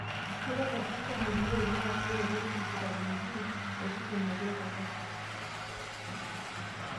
Keitagol calcium iloik naa keretoki vitamin e D osesen metooko calcium.